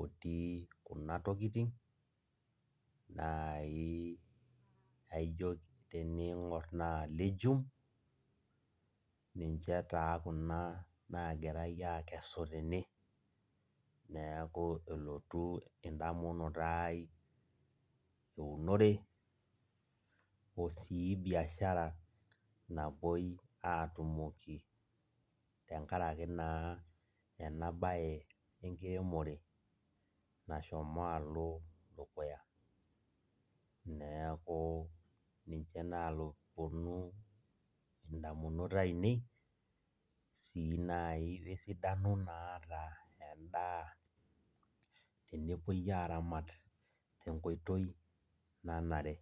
otii kuna tokiting, nai naijo tening'or naa legume, ninche taa kuna nagirai akesu tene. Neeku elotu endamunoto ai eunore, osii biashara napoi atumoki tenkaraki naa enabae enkiremore nashomo alo dukuya. Neeku ninye naponu indamunot ainei, si nai wesidano naata endaa tenepoi aramat tenkoitoi nanare.